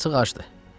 Yazıq acdı.